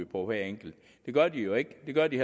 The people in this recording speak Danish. på hver enkelt det gør de jo ikke det gør de